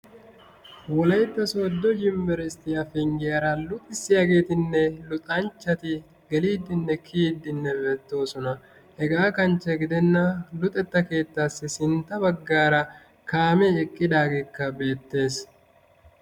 Wolaytta sooddo yunibberesttiya penggiyara luxissiyageetinne luxanchchati geliiddinne kiyiiddinne beettoosona. Hegaa kanchche gidenna luxetta keettaassi sintta baggaara kaamee eqqidaageekka beettees.